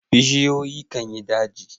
Busioyi kan yin daji.